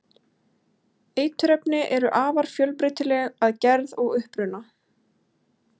eiturefni eru afar fjölbreytileg að gerð og uppruna